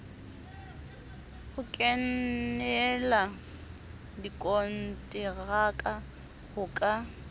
ho kenela dikonteraka ho ka